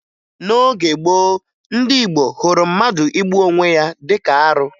N'oge gboo, ndị Igbo hụrụ mmadụ igbu onwe ya dịka arụ